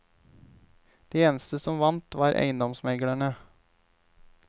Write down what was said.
De eneste som vant, var eiendomsmeglerne.